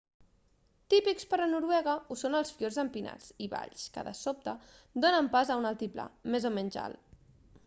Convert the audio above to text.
típics per a noruega ho són els fiords empinats i valls que de sobte donen pas a un altiplà més o menys alt